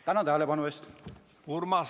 Tänan tähelepanu eest!